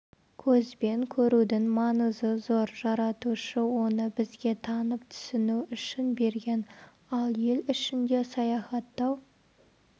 көзбен көрудің маңызы зор жаратушы оны бізге танып түсіну үшін берген ал ел ішінде саяіаттау